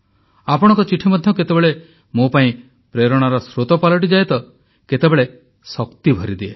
ଆପଣଙ୍କ ଚିଠି ମଧ୍ୟ କେତେବେଳେ ମୋ ପାଇଁ ପ୍ରେରଣାର ସ୍ରୋତ ପାଲଟିଯାଏ ତ କେତେବେଳେ ଶକ୍ତି ଭରିଦିଏ